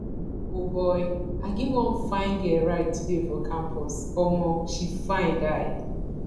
o boy i give wan fine girl ride today for campus omo she fine die